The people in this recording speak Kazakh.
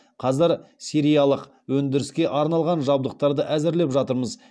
қазір сериялық өндіріске арналған жабдықтарды әзірлеп жатырмыз